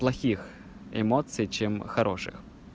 плохих эмоций чем хороших